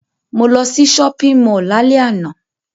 Mo lo sí shopping mall lálẹ́ àná